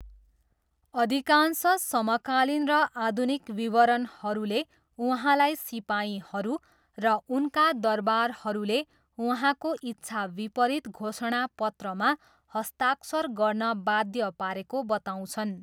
अधिकांश समकालीन र आधुनिक विवरणहरूले उहाँलाई सिपाहीहरू र उनका दरबारहरूले उहाँको इच्छाविपरीत घोषणापत्रमा हस्ताक्षर गर्न बाध्य पारेको बताउँछन्।